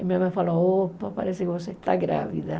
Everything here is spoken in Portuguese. E minha mãe falou, opa, parece que você está grávida.